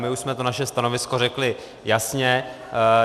My už jsme to naše stanovisko řekli jasně.